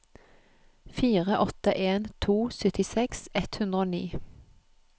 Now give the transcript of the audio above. fire åtte en to syttiseks ett hundre og ni